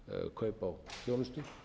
kaup á þjónustu